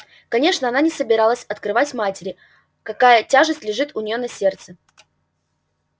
конечно она не собиралась открывать матери какая тяжесть лежит у неё на сердце